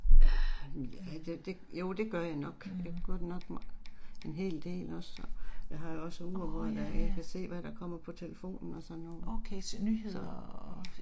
Ah ja det det jo det gør jeg nok. Jeg gør det en hel del også så, jeg har også ure hvor jeg kan se hvad der kommer på telefonen og sådan noget. Så